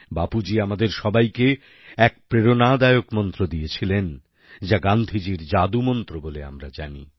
বাপুজী আমাদের সবাইকে এক প্রেরণাদায়ক মন্ত্র দিয়েছিলেন যা গান্ধীজীর জাদুমন্ত্র বলে আমরা জানি